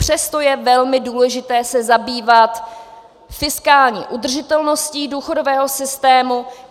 Přesto je velmi důležité se zabývat fiskální udržitelností důchodového systému.